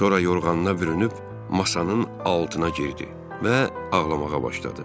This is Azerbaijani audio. Sonra yorğanına bürünüb masanın altına girdi və ağlamağa başladı.